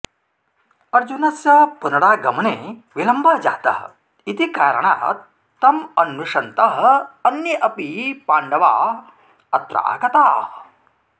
अर्जुनस्य पुनरागमने विलम्बः जातः इति कारणात् तम् अन्विषन्तः अन्ये अपि पाण्डवाः अत्र आगताः